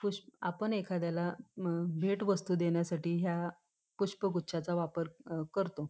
पुष्प आपण एखाद्याला भेट वस्तु देण्यासाठी ह्या पुष्प गुच्छाचा वापर करतो.